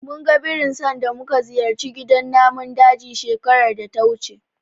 Munga birin sanda muka ziyarci gidan namun daji shekarar data wuce.